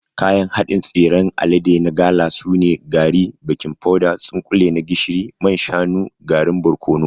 Kayan haɗin tsiran alade na gala sune: gari, baking powder, tsunkule na gishiri, man shanu, garin barkono.